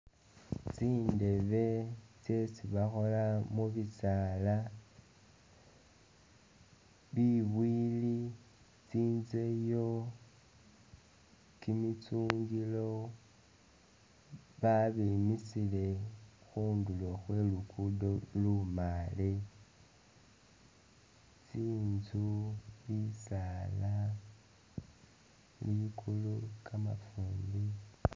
Tsindeebe tsyesi bakhola mu bisaala, bibwili, tsinzeyo, kimitsungilo babimisile khundulo khwe lugudo lumaale. Tsinzu, bisaala, likulu, kamafumbi.